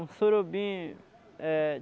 Um surubim é